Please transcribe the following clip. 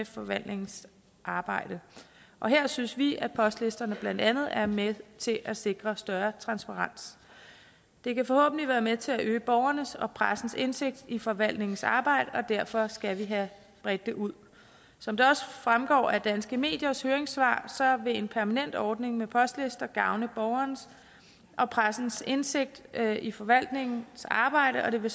forvaltningens arbejde og her synes vi at postlisterne blandt andet er med til at sikre større transparens det kan forhåbentlig være med til at øge borgernes og pressens indsigt i forvaltningens arbejde og derfor skal vi have bredt det ud som det også fremgår af danske mediers høringssvar vil en permanent ordning med postlister gavne borgernes og pressens indsigt i forvaltningens arbejde og det vil